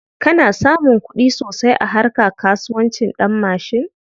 Kana samun kuɗi sosai a harka kasuwancin ɗanmashin?